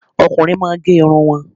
Ọkùnrin máà ń gẹ irun wọn